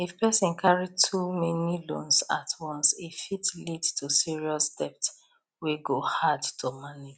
if person carry too many loans at once e fit lead to serious debt wey go hard to manage